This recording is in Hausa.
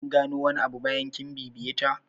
Kin gano wani abu bayan kin bibiye ta?